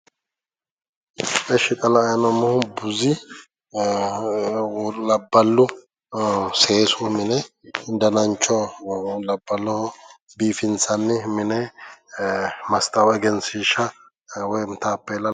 Ishshi xa la'ayi noommohu labballu dananchu seensillu mine danancho labballoho biifinsanni mine mastawoqa woyi egenshiishsha woy taappeella